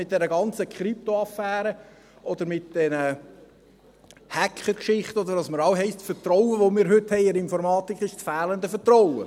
Jetzt mit dieser ganzen Krypto-Affäre oder mit diesen Hackergeschichten, bei denen es immer heisst, das Vertrauen, das wir heute in die Informatik haben, sei das fehlende Vertrauen.